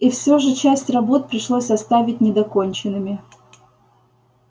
и всё же часть работ пришлось оставить недоконченными